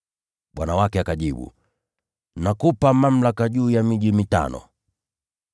“Bwana wake akajibu, ‘Nakupa mamlaka juu ya miji mitano.’